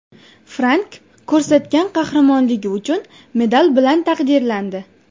Frank ko‘rsatgan qahramonligi uchun medal bilan taqdirlandi.